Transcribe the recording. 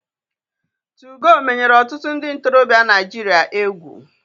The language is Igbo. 2go menyere otutu ndi ntorobia Naijiria egwu.